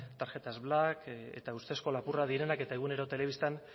tarjetas black eta ustezko lapurrak direnak eta egunero telebistan